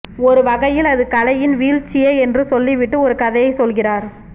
ஒரு வகையில் அது கலையின் வீழ்ச்சியே என்று சொல்லிவிட்டு ஒரு கதையை சொல்கிறார்